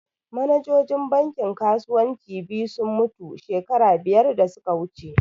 Manajojin bankin kasuwanci biyu sun mutu shekara biyar da suka wuce